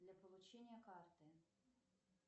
для получения карты